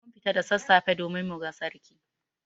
Mun fita da sassafe domin muga Sarki.